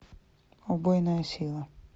убойная сила